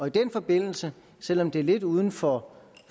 i den forbindelse selv om det er lidt uden for